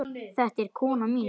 Þetta er konan mín!